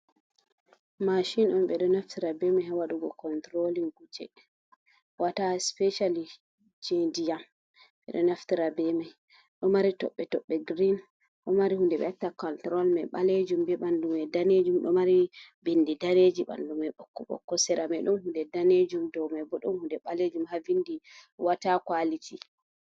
Mashin on ɓe ɗo naftira be ha wadugo kontrolin kuje wata specialli je ndi'am ɓeɗo naftira bemai ɗo mari toɓɓe-toɓɓe green ɗo mari hunde ɓe wacta control mai ɓalejum be ɓandu mai danejum ɗo mari bindi daneji ɓandu mai ɓokko-ɓokko seramai ɗum hunde danejum dou mai bo ɗun hunde ɓalejum ha vindi wata kuality.